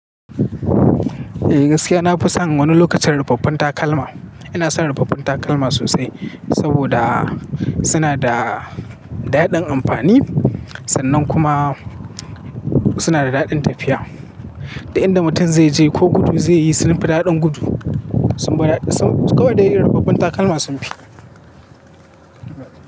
Eh gaskiya na fi son wani lokacin ruɓaɓɓun takalma. Ina son ruɓaɓɓun takalma sosai saboda suna da daɗin amfani sannan kuma suna da daɗin tafiya. Da inda mutum zai je ko gudu zai yi sun fi daɗin gudu. Kawai da irin ruɓaɓɓun takalma sun fi.